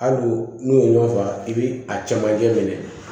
Hali n'u ye ɲɔgɔn faa i bɛ a camancɛ minɛ